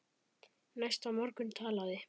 Næsta morgun talaði